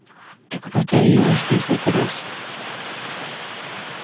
так повторилось несколько раз